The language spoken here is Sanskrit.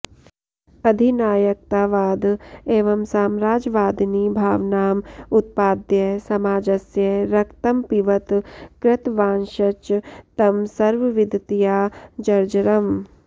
अधिनायकतावाद एव साम्राजवादिनी भावनाम् उत्पाद्य समाजस्य रक्तमपिवत् कृतवांश्च तं सर्वविधतया जर्जरम्